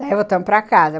Daí voltamos para casa.